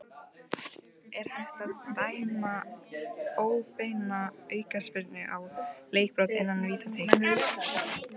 Er hægt að dæma óbeina aukaspyrnu á leikbrot innan vítateigs?